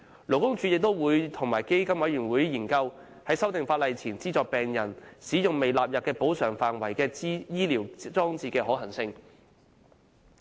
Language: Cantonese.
勞工處亦會與基金委員會研究，在法例修訂前資助病人使用未納入補償範圍的醫療裝置的可行性。